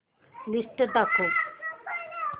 list दाखव